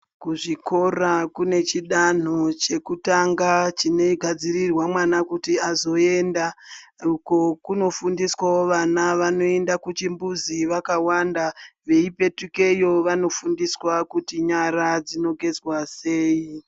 Kuzvikora kune chidanho chekutanga chinogadzirirwa mwana kuti azoenda uko kunofundwa vana vanoenda kuchimbuzi vakawanda veipetukayo vanofundiswa kuti nyara dzinogezwa sei.